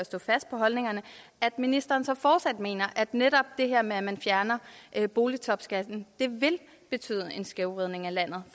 stå fast på holdningerne er at ministeren så fortsat mener at netop det her med at man fjerner boligtopskatten vil betyde en skævvridning af landet